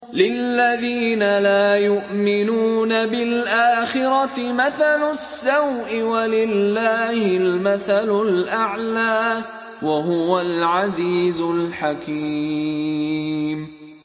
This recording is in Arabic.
لِلَّذِينَ لَا يُؤْمِنُونَ بِالْآخِرَةِ مَثَلُ السَّوْءِ ۖ وَلِلَّهِ الْمَثَلُ الْأَعْلَىٰ ۚ وَهُوَ الْعَزِيزُ الْحَكِيمُ